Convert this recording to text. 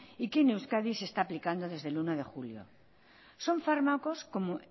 y que en euskadi se está aplicando desde el uno de junio son fármacos